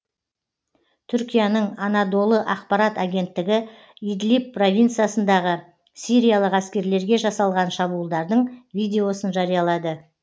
түркияның анадолы ақпарат агенттігі идлиб провинциясындағы сириялық әскерлерге жасалған шабуылдардың видеосын жариялады